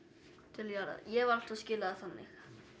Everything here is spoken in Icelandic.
til jarðar ég hef alltaf skilið það þannig